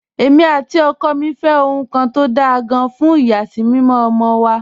Èmi àti ọkọ mi fẹ́ ohun kan tó dáa gan-an fún ìyàsímímọ́ ọmọ wa